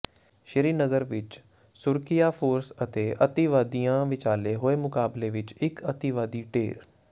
ਸ੍ਰੀ ਨਗਰ ਵਿੱਚ ਸੁਰੱਖਿਆ ਫੋਰਸ ਤੇ ਅਤਿਵਾਦੀਆਂ ਵਿਚਾਲੇ ਹੋਏ ਮੁਕਾਬਲੇ ਵਿੱਚ ਇਕ ਅਤਿਵਾਦੀ ਢੇਰ